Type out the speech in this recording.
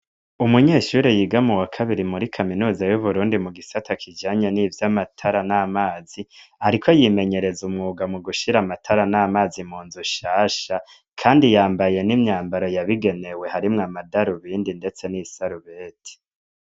Umunyeshure yiga mu wa kabiri muri kaminuza y'Uburundi, mu gisata kijanye n'ivy'amatara n'amazi, ariko yimenyereza umwuga mu gushira amatara n'amazi mu nzu nshasha. Kandi yambaye imyambaro yabigenewe , harimwo amadarubindi ndetse n'isarubeti.